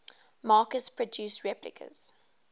makers produce replicas